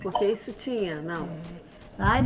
Porque isso tinha, não? Ai